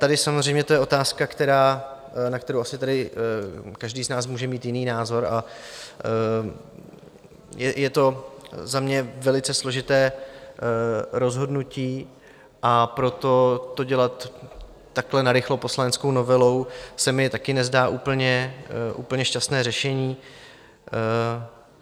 Tady samozřejmě to je otázka, na kterou asi tady každý z nás může mít jiný názor, a je to za mě velice složité rozhodnutí, a proto to dělat takhle narychlo poslaneckou novelou se mi taky nezdá úplně šťastné řešení.